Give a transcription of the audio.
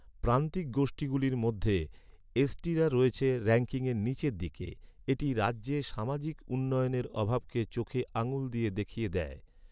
প্রান্তিক গোষ্ঠীগুলির মধ্যে, এসটিরা রয়েছে, র‍্যাঙ্কিংয়ের নীচের দিকে। এটি রাজ্যে সামাজিক উন্নয়নের অভাবকে চোখে আঙুল দিয়ে দেখিয়ে দেয়।